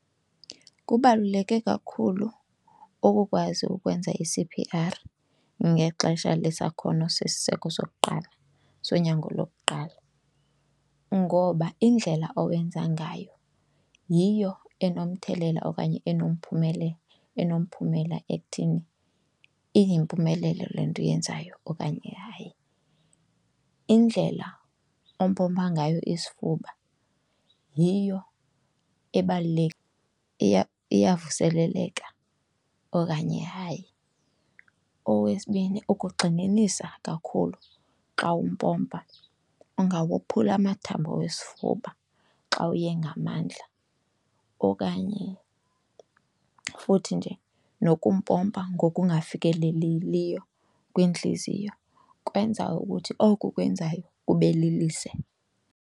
Kubaluleke kakhulu ukukwazi ukwenza i-C_P_R ngexesha lesakhono lesiseko sokuqala sonyango lokuqala ngoba indlela owenza ngayo yiyo enomthelela okanye enomphumela ekuthini iyimpumelelo le nto uyenzayo okanye hayi. Indlela ompompa ngayo isifuba yiyo iyavuseleleka okanye hayi. Owesibini, ukugxininisa kakhulu xa umpompa ungawophula amathambo wesifuba xa uye ngamandla okanye futhi nje nokumpompa ngokungafikeleleliyo kwintliziyo kwenza ukuthi oku ukwenzayo kube lilize.